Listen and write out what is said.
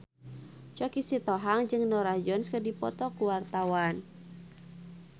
Choky Sitohang jeung Norah Jones keur dipoto ku wartawan